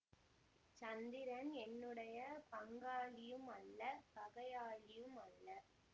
சந்திரன் என்னுடைய பங்காளியும் அல்ல பகையாளியும் அல்ல